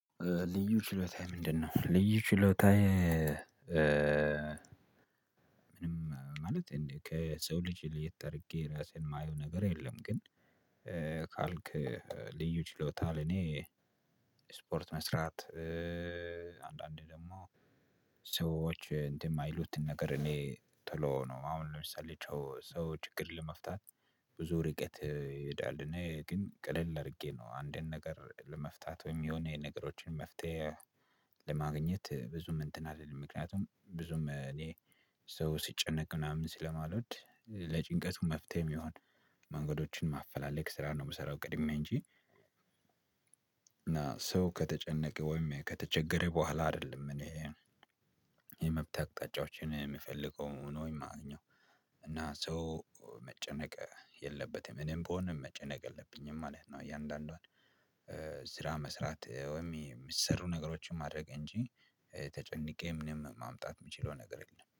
ልዩ ችሎታህ ምንድነው? ልዩ ችሎታዬ ምንም ማለት ከሰው ልጅ ለየት አድርጌ ራሴን የማየው ነገር የለም። ግን ካልክ ልዩ ችሎታ ለኔ ስፖርት መስራት። አንዳንዴ ደግሞ ሰዎች እንትን የማይሉትን ነገር እኔ ቶሎ ነው አሁን ለምሳሌ ሰው ችግር ለመፍታት ብዙ ርቀት ይሄዳል። እኔ ግን ቀለል አድርጌ ነው አንድን ነገር ለመፍታት ወይም የሆነ የነገሮችን መፍትሄ ለማግኘት ብዙም እንትን አልልም። ምክንያቱም ብዙም እኔ ሰው ሲጨነቅ ምናምን ስለማልወድ ለጭንቀቱ መፍትሄም እሚሆን መንገዶችን ማፈላለግ ስራ ነው የምሰራው። ቅድሜ እንጂ እና ሰው ከተጨነቀ ወይም ከተቸገረ በኋላ አይደለም። እኔ የመብት አቅጣጫዎችን የምፈልገው ወይም እማገኘው። እና ሰው መጨነቅ የለበትም እኔም ብሆን መጨነቅ የለብኝም ማለት ነው። እያንዳንዷን ስራ መስራት ወይም የሚሰሩ ነገሮችን ማድረግ እንጂ ተጨንቄ ምንም ማምጣት የምችለው ነገር የለም